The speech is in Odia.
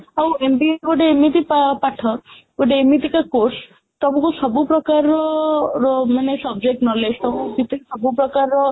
ଆଉ MBA ଗୋଟେ ଏମିତି ପାଠ ଗୋଟେ ଏମିତିକା course ତମକୁ ସବୁ ପ୍ରକାରର ର ମାନେ subject knowledge ସବୁ ସବୁ ପ୍ରକାରର